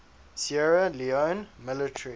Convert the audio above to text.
sierra leone military